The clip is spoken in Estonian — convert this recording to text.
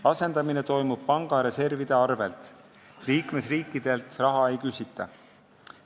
Asendamine toimub panga reservide arvel, liikmesriikidelt raha ei küsita.